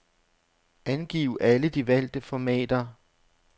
Angiv alle de valgte formater.